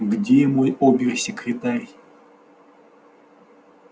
где мой обер-секретарь